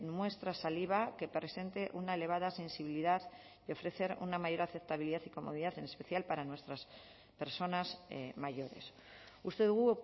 muestra saliva que presente una elevada sensibilidad y ofrecer una mayor aceptabilidad y comodidad en especial para nuestras personas mayores uste dugu